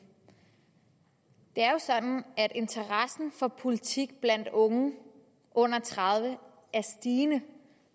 det er jo sådan at interessen for politik blandt unge under tredive er stigende